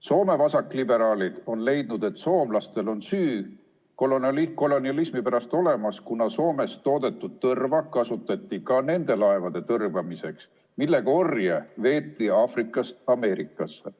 Soome vasakliberaalid on leidnud, et soomlastel on süü kolonialismi pärast olemas, kuna Soomes toodetud tõrva kasutati ka nende laevade tõrvamiseks, millega veeti orje Aafrikast Ameerikasse.